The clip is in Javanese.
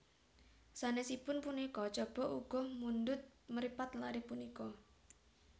Sanesipun punika Chaba uga mundhut mripat lare punika